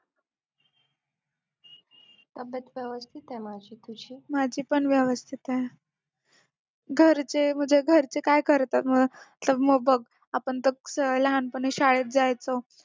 माझी पण व्यवस्थित आहे घरचे म्हणजे घरचे काय करतात मग तर मग बग आपण तर लहानपणी शाळेत जायचो